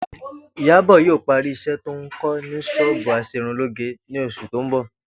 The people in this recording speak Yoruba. Ìyábò̩ yóò parí is̩é̩ tó ń kó̩ ní s̩ó̩ò̩bù as̩erunlóge ní os̩ù tó ń bò̩